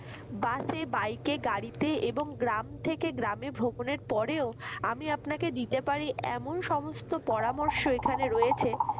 bus, bike গাড়িতে এবং গ্রাম থেকে গ্রামে ভ্রমণের পরেও আমি আপনাকে দিতে পারি এমন সমস্ত পরামর্শ এখানে রয়েছে